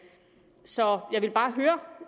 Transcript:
så jeg vil bare